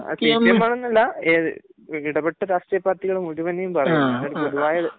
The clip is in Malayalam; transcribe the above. സിപിഎം ആണെന്നല്ല. ഇടപെട്ട രാഷ്ട്രീയപാർട്ടികൾ മുഴുവനും ബാധി, ഒരു പൊതുവായ